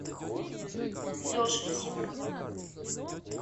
лешу симанова